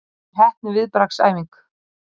Vel heppnuð viðbragðsæfing